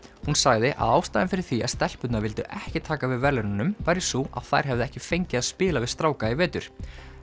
hún sagði að ástæðan fyrir því að stelpurnar vildu ekki taka við verðlaununum væri sú að þær hefðu ekki fengið að spila við stráka í vetur